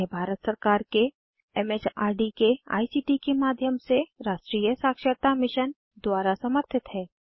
यह भारत सरकार के एमएचआरडी के आईसीटी के राष्ट्रीय साक्षरता मिशन द्वारा समर्थित है